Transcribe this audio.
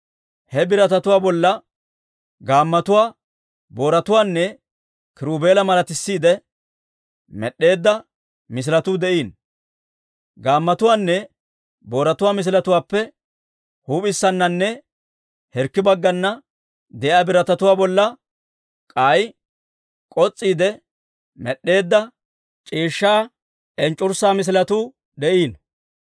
He biratatuwaa bolla gaammotuwaa, booratuwaanne kiruubela malatisiidde med'd'eedda misiletuu de'iino; gaammotuwaanne booratuwaa misiletuwaappe huup'issananne hirkki baggana de'iyaa biratatuwaa bolla k'ay k'os's'iide med'd'eedda c'iishshaa enc'c'urssaa misiletuu de'iino.